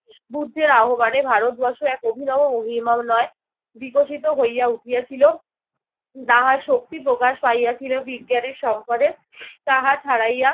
বুদ্ধের আহ্বানে ভারতবর্ষ এক অভিনব বিকশিত হইয়া উঠিয়াছিল। তাহার শক্তি প্রকাশ পাইয়াছিল বিজ্ঞানে-সম্পদে তাহা ছাড়াইয়া